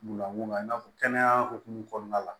Munna mun na i n'a fɔ kɛnɛya hukumu kɔnɔna la